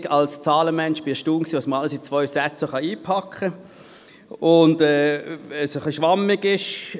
Als Zahlenmensch war ich erstaunt, was man alles in zwei Sätze packen kann, wenn es ein bisschen schwammig ist.